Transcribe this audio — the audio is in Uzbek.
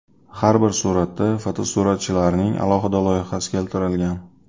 Har bir suratda fotosuratchilarning alohida loyihasi keltirilgan.